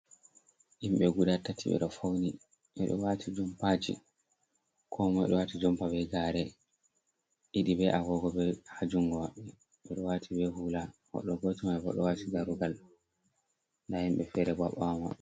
Himɓe guda tati ɓe ɗo fauni, ɓe ɗo waati jompaji. Ko moi ɗo wati jompa be gaare. Ɗiɗi be agogo haa jungo maɓɓe, ɓe ɗo waati be hula. Goɗɗo goto mai bo, ɗo waati daarugal, nda himɓe feere bo haa ɓawo maɓɓe.